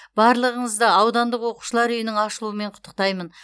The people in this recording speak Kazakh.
барлығыңызды аудандық оқушылар үйінің ашылуымен құттықтаймын